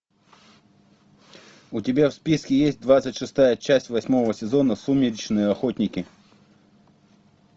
у тебя в списке есть двадцать шестая часть восьмого сезона сумеречные охотники